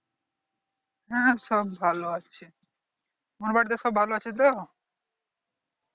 হ্যাঁ সব ভালো আছে তোমার বাড়িতে সব ভালো আছে তো